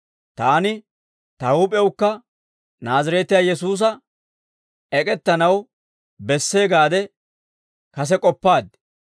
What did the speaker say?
«Taani ta huup'ewukka Naazireetiyaa Yesuusa ek'ettanaw bessee gaade kase k'oppaad.